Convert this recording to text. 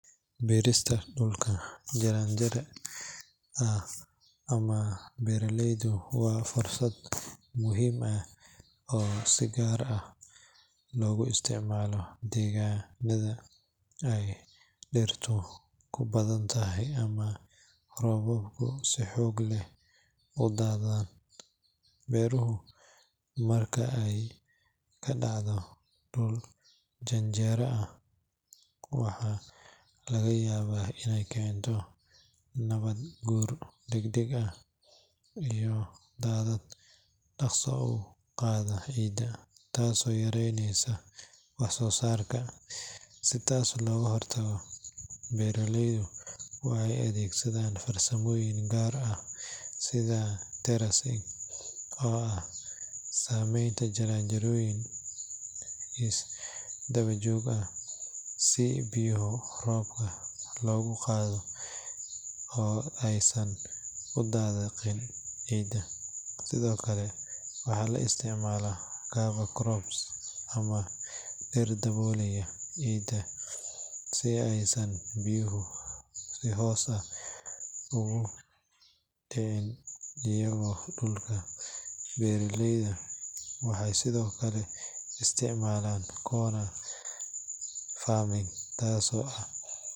Beerista dhulka janjeera ah ama buuraleyda waa farsamo muhiim ah oo si gaar ah loogu isticmaalo deegaannada ay dhirtu ku badantahay ama roobabku si xoog leh u da’aan. Beerashadu marka ay ka dhacdo dhul janjeera ah waxaa laga yaabaa inay keento nabaad guur degdeg ah iyo daadad dhaqso u qaada ciidda, taasoo yareyneysa wax soo saarka. Si taas looga hortago, beeraleydu waxay adeegsadaan farsamooyin gaar ah sida terracing oo ah samaynta jaranjarooyin isdabajoog ah si biyaha roobka loogu qabto oo aysan u dhaqaaqin ciidda. Sidoo kale waxaa la isticmaalaa cover crops ama dhir daboolaysa ciidda si aysan biyuhu si toos ah ugu dhicin oogada dhulka. Beeraleyda waxay sidoo kale isticmaalaan contour farming, taasoo ah.